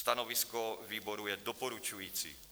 Stanovisko výboru je doporučující.